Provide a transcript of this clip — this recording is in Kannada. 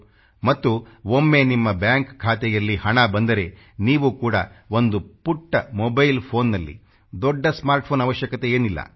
ಮತ್ತು ಒಮ್ಮೆ ನಿಮ್ಮ ಬ್ಯಾಂಕ್ ಖಾತೆಯಲ್ಲಿ ಹಣ ಬಂದರೆ ನೀವು ಕೂಡ ಒಂದು ಪುಟ್ಟ ಮೊಬೈಲ್ ಫೋನ್ ನಲ್ಲಿ ದೊಡ್ಡ ಸ್ಮಾರ್ಟ್ ಫೋನ್ ಅವಶ್ಯಕತೆಯೇನಿಲ್ಲ